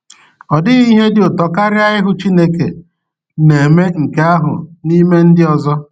Ọ dịghị ihe dị ụtọ karịa ịhụ Chineke na-eme nke ahụ n’ime ndị ọzọ.